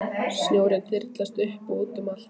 Snjórinn þyrlaðist upp og út um allt.